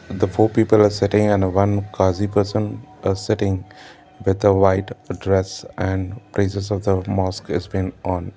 the four people are sitting on a one kazee person uh sitting with the white dress and praises of the mosque is been on.